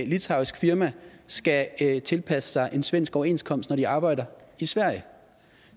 litauisk firma skal tilpasse sig en svensk overenskomst når det har arbejde i sverige